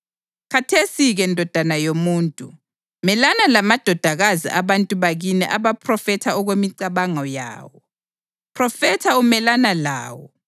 Khathesi-ke ndodana yomuntu, melana lamadodakazi abantu bakini aphrofetha okwemicabango yawo. Phrofetha umelana lawo